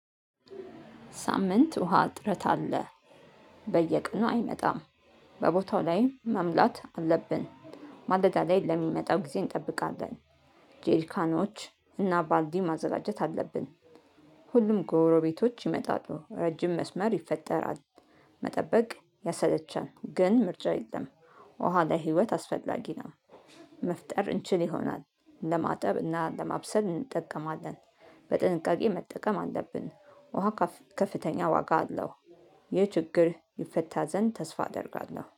ሳምንት ውሃ ጥረት አለ። በየቀኑ አይመጣም። በቦታው ላይ መምላት አለብን። ማለዳ ላይ ለሚመጣው ጊዜ እንጠብቃለን። ጄሪካኖች እና ባልዲ ማዘጋጀት አለብን። ሁሉም ጎረቤቶች ይመጣሉ ረጅም መስመር ይፈጠራል። መጠበቅ ያሰለቻል ግን ምርጫ የለም። ውሃ ላይ ለህይወት አስፈላጊ ነው። መፍጠር እንችል ይሆናል ለማጠብ እና ለማብሰል እንጠቀማለን። በጥንቃቄ መጠቀም አለብን ውሃ ከፍተኛ ዋጋ አለው። ይህ ችግር ይፈታ ዘንድ ተስፋ አደርጋለሁ